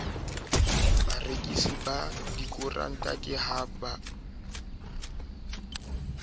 barekisi ba dikoranta ke ha